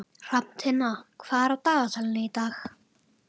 Hrafntinna, hvað er á dagatalinu í dag?